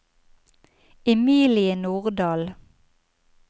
Emilie Nordahl